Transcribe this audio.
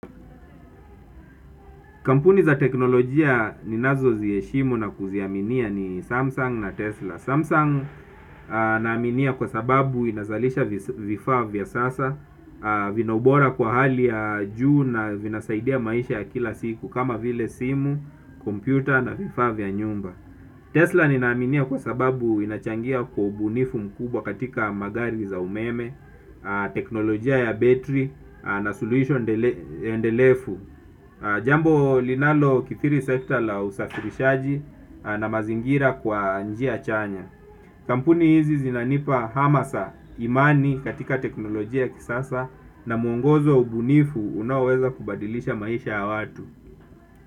Kampuni za teknolojia ninazoziheshimu na kuziaminia ni Samsung na Tesla Samsung naaminia kwa sababu inazalisha vifaa vya sas, vinaubora kwa hali ya juu na vinasaidia maisha ya kila siku kama vile simu, kompyuta na vifaa vya nyumba Tesla ninaminia kwa sababu inachangia kwa ubunifu mkubwa katika magari za umeme. Teknolojia ya battery na solution endelefu. Jambo linalokithiri sector la usafirishaji na mazingira kwa njia chanya. Kampuni hizi zinanipa hamasa imani katika teknolojia kisasa na muongozo ubunifu unaoweza kubadilisha maisha ya watu.